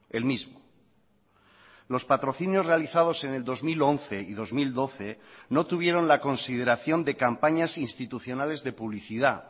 el mismo los patrocinios realizados en el dos mil once y dos mil doce no tuvieron la consideración de campañas institucionales de publicidad